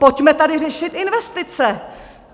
Pojďme tady řešit investice!